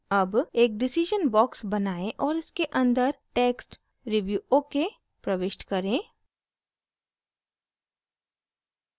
अब एक decision box बनाएं और इसके अंदर text review okay प्रविष्ट करें